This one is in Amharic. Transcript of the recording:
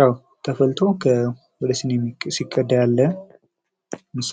ያው ተፈልቶ ወደ ሲኒ ሲቀዳ ያለ ምስል ነው።